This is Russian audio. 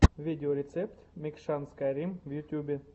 видеорецепт мэкшан скайрим в ютубе